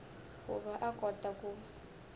ku va a kota ku